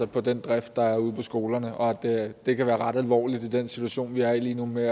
den drift der er ude på skolerne og at det kan være ret alvorligt i den situation vi er i lige nu med